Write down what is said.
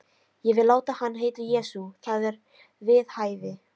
Ég vil láta hann heita Jesú. það er við hæfi.